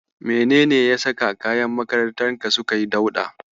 Menene ya saka kayan makarantarka suka yi dauɗa?